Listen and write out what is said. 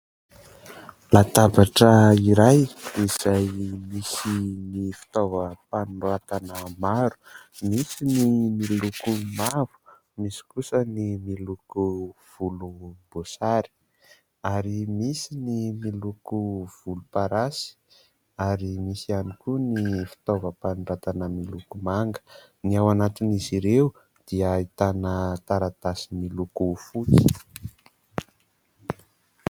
Latabatra iray izay misy ny fitaovam-panoratana maro. Misy ny miloko mavo, misy kosa ny miloko voloboasary ary misy ny miloko volomparasy ary misy ihany koa ny fitaovam-panoratana miloko manga. Ny ao anatin' izy ireo dia ahitana taratasy miloko fotsy.